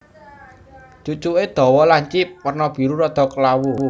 Cucuké dawa lancip werna biru rada klawu